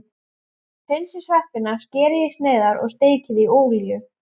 Hreinsið sveppina, skerið í sneiðar og steikið í olíu.